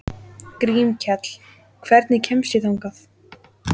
Grímkell, hvernig kemst ég þangað?